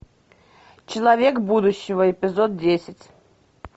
человек будущего эпизод десять